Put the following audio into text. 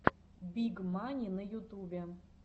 биг мани на ютубе